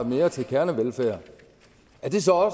mere til kernevelfærd er det så